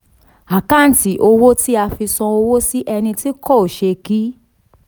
àkántì owó tí a fi san owó si ẹni tó kọ ṣẹ́ẹ̀kì.